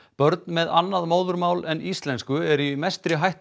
börn með annað móðurmál en íslensku eru í mestri hættu